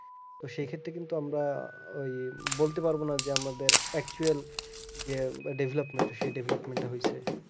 সেক্ষত্রে কিন্তু আমরা ওই বলতে পারবোনা যে আমাদের actual যে development সেই development হয়েছে